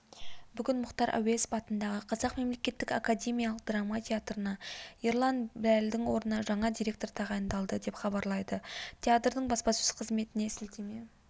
бүгін мұхтар әуезов атындағы қазақ мемлекеттік академиялық драма театрына ерлан біләлдің орнына жаңа директор тағайындалды деп хабарлайды театрдың баспасөз қызметіне сілтеме